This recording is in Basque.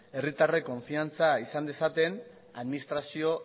herritarrek konfidantza izan dezaten administrazio